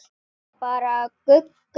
Segja bara Gugga.